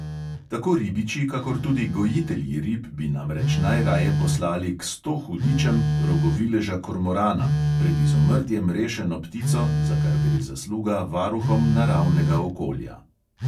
Tako ribiči kakor tudi gojitelji rib bi namreč najraje poslali "k sto hudičem" rogovileža kormorana, pred izumrtjem rešeno ptico, za kar gre zasluga varuhom naravnega okolja.